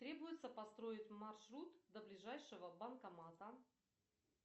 требуется построить маршрут до ближайшего банкомата